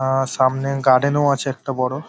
আ সামনে গার্ডেন -ও আছে একটা বড়।